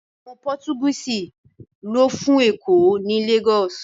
Àwọn Pọ́tugíìsì lọ́ fún Èkó ní Lagos